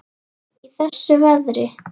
Í þessu veðri?